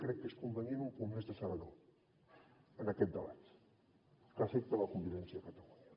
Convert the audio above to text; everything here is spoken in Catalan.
crec que és convenient un punt més de serenor en aquest debat que afecta la convivència a catalunya